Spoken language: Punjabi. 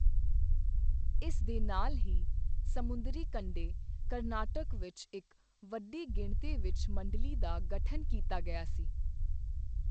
ਇਸ ਦੇ ਨਾਲ ਹੀ, ਸਮੁੰਦਰੀ ਕੰਢੇ, ਕਰਨਾਟਕ ਵਿੱਚ ਇੱਕ ਵੱਡੀ ਗਿਣਤੀ ਵਿੱਚ ਮੰਡਲੀ ਦਾ ਗਠਨ ਕੀਤਾ ਗਿਆ ਸੀ।